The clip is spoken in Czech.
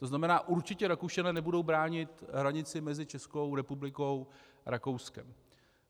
To znamená určitě Rakušané nebudou bránit hranici mezi Českou republikou a Rakouskem.